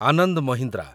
Anand Mahindra